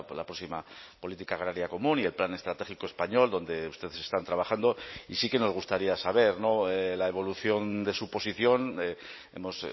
la próxima política agraria común y el plan estratégico español donde ustedes están trabajando y sí que nos gustaría saber la evolución de su posición hemos